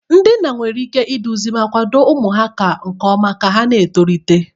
Ndị nna nwere ike iduzi ma kwado ụmụ ha nke ọma ka ha na-etolite.